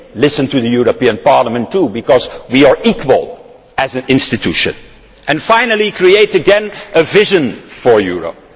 listen to the European Parliament too, because we are equal as an institution. And finally, create again a vision for Europe.